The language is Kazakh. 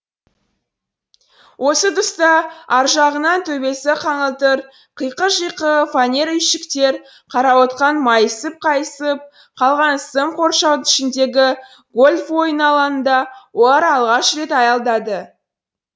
осы тұста аржағынан төбесі қаңылтыр қиқы жиқы фанер үйшіктер қарауытқан майысып қайысып қалған сым қоршаудың ішіндегі гольф ойыны алаңында олар алғаш рет аялдады